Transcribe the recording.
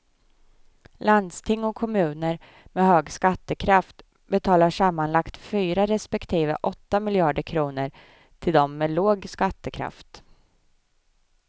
Landsting och kommuner med hög skattekraft betalar sammanlagt fyra respektive åtta miljarder kronor till dem med låg skattekraft.